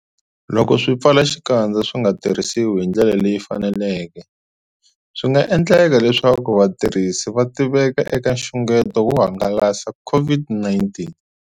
Loko swipfalaxikandza swi nga tirhisiwi hi ndlela leyi faneleke, swi nga endleka leswaku vatirhisi va tiveka eka nxungeto wo hangalasa COVID-19.